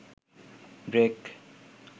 break